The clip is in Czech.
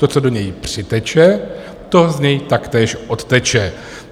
To, co do něj přiteče, to z něj taktéž odteče.